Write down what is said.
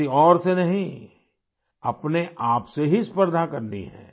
किसी और से नहीं अपने आप से ही स्पर्धा करनी है